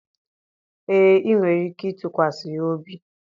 ee, ị nwere ike ịtụkwasị ya obi